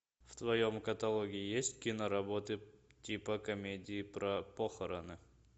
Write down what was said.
в твоем каталоге есть кино работы типа комедии про похороны